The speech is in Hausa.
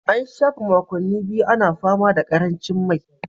An shafe makonni biyu ana fama da karancin mai